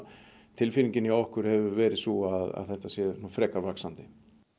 tilfinningin hjá okkur hefur verið sú að þetta sé frekar vaxandi